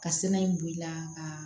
Ka sɛnɛ in bɔ i la ka